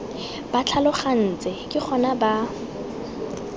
ba tlhalogantse ke gona ba